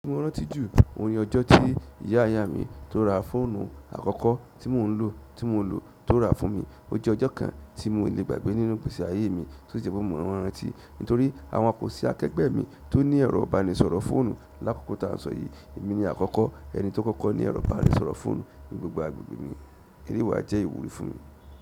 Mo rántí jù, oun ni ọjọ́ tí ìyá ìyá mi tó ra fóònù àkọ́kọ́ tí mò ń lò tí mo lò tó ra fún mi. O jẹ́ ọjọ́ kan tí mio lè gbàgbé nínú ìgbésí ayé mi tí ó sì jẹ́ pé mò ń rántí, nítorí àwọn kosí akẹgbẹ́ mi tó ní ẹrọ ìbánisọ̀rọ̀ fóònù lákòókò tán sọ yìí, èmi ni àkọ́kọ́ ẹni tó kọ́kọ́ ní ẹrọ ìbánisọ̀rọ̀ fóònù ní gbogbo agbègbè mi. Eleyi wa jẹ́ ìwúrí fún mi.